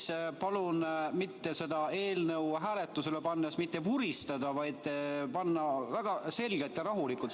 Siis palun seda eelnõu hääletusele pannes mitte vuristada, vaid väga selgelt ja rahulikult.